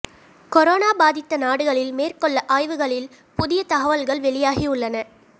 corona பாதித்த நாடுகளில் மேற்கொள்ள ஆய்வுகளில் புதிய தகவல்கள் வெளியாகி உள்ளன